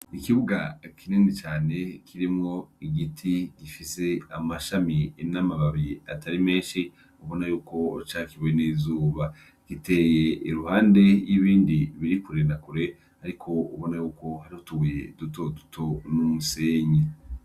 Ikibuga kinini cane kirimwo igiti gifise amashami n'amababi atari menshi ubona yuko cakiwe n'izuba, giteye iruhande y'ibindi biri kure na kure ariko ubona yuko harimwo utubuye dutoduto n'umusenyi.